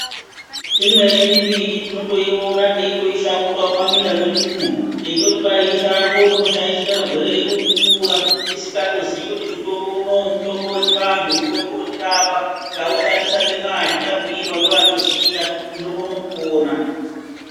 Imweni mimbiti tinotoiona teitoishakura mukati mweminda mwedumwo teitoti ishango rinoshaishira magwere edu kukura tisingaziyi kuti mutombo unowu mutombo wechivanhu unokona kutotirapa tikaushandisa nemwazvo tabhuyirwa ngevaunoziya tinokona kupona.